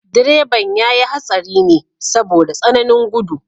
Direban ya yi hatsari ne saboda tsananin gudu.